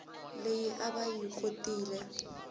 leyi a va yi khonetile